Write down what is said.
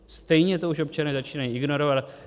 Stejně to už občané začínají ignorovat.